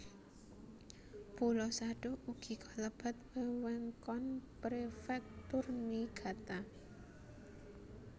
Pulo Sado ugi kalebet wewengkon Prefektur Niigata